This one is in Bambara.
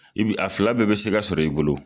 I bi a fila bɛɛ bɛ se ka sɔrɔ i bolo.